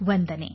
ವಂದನೆ